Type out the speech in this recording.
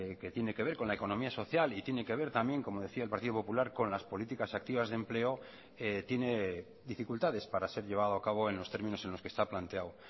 que tiene que ver con la economía social y tiene que ver también como decía el partido popular con las políticas activas de empleo tiene dificultades para ser llevado a cabo en los términos en los que está planteado